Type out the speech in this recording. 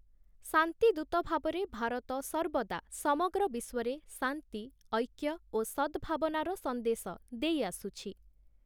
ଶାନ୍ତି ଦୂତ ଭାବରେ ଭାରତ ସର୍ବଦା ସମଗ୍ର ବିଶ୍ୱରେ ଶାନ୍ତି, ଐକ୍ୟ ଓ ସଦ୍ଭାବନାର ସନ୍ଦେଶ ଦେଇଆସୁଛି ।